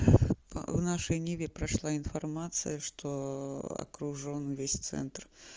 в нашей ниве прошла информация что окружён весь центр